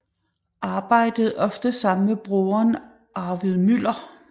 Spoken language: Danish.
Arbejdede ofte sammen med broderen Arvid Müller